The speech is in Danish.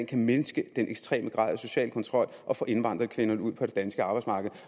kan mindske den ekstreme grad af social kontrol og få indvandrerkvinderne ud på det danske arbejdsmarked